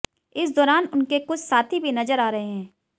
इस दौरान उनके कुछ साथी भी नजर आ रहें हैं